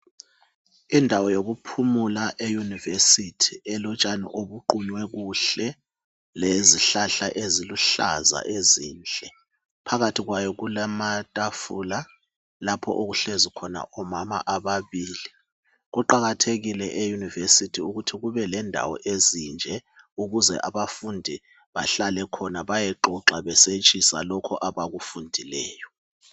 Indawo yokuphumula e University elotshani obuqunywe kuhle lezihlahla eziluhlaza ezinhle. Phakathi kwayo kulamatafula lapho okuhlezi khona omama ababili. Kuqakathekile e University ukuthi kubelendawo ezinje ukuze abafundi bahlale khona bayexoxa besetshisa lokho abakufundileyo .